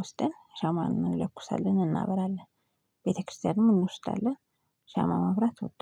ወስደን ሻማን እንለኩሳለን እናበራለን። ቤተክርስቲያንም እንወስዳለን ሻማ ማብራት እወዳለሁ።